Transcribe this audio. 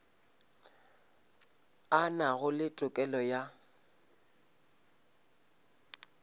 a nago le tokelo ya